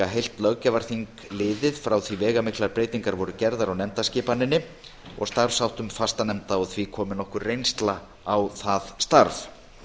heilt löggjafarþing liðið frá því að veigamiklar breytingar voru gerðar á nefndaskipaninni og starfsháttum fastanefnda og því komin nokkur reynsla á það starf